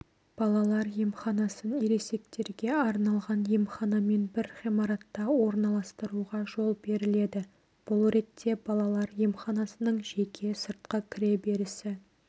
балалар емханасын ересектерге арналған емханамен бір ғимаратта орналастыруға жол беріледі бұл ретте балалар емханасының жеке сыртқы кіре берісі